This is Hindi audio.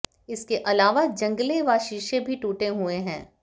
इसके अलावा जंगले व शीशे भी टूटे हुए हैं